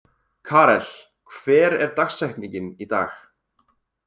Karel, hver er dagsetningin í dag?